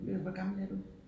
Hvor gammel er du?